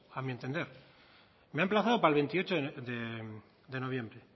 a mi entender me ha emplazado para el veintiocho de noviembre